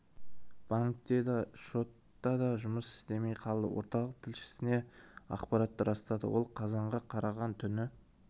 банк те да пошта да жұмыс істемей қалды орталық тілшісіне ақпаратты растады ол қазанға қараған түні